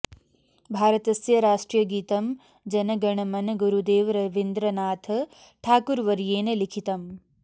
भारतस्य राष्ट्रियगीतम् जन गण मन गुरुदेव रवीन्द्रनाथ ठाकुरवर्येण लिखितम्